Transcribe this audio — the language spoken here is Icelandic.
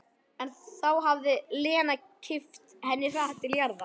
En þá hafði Lena kippt henni hratt til jarðar.